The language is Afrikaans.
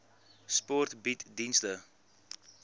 sport bied dienste